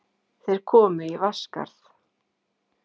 Þeir komu í Vatnsskarð.